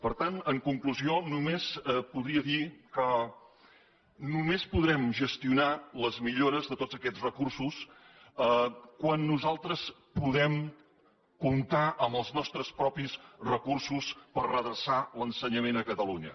per tant en conclusió només podria dir que només podrem gestionar les millores de tots aquests recursos quan nosaltres puguem comptar amb els nostres propis recursos per redreçar l’ensenyament a catalunya